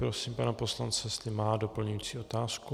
Prosím pana poslance, jestli má doplňující otázku.